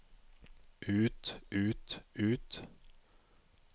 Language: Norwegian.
ut ut ut